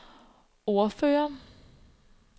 ordfører